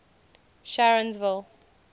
sharonsville